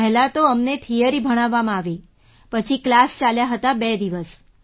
પહેલાં તો અમને થિયરી ભણાવવામાં આવી પછી ક્લાસ ચાલ્યા હતા બે દિવસ